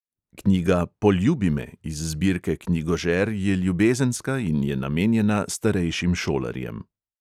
Knjiga "poljubi me!" iz zbirke knjigožer je ljubezenska in je namenjena starejšim šolarjem.